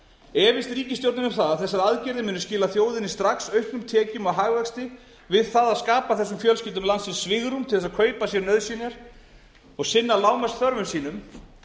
efist ríkisstjórnin um það að þessar aðgerðir muni skila þjóðinni strax auknum tekjum og hagvexti við það að skapa þessum fjölskyldum svigrúm til þess að kaupa sér nauðsynjar og sinna lágmarksþörfum sínum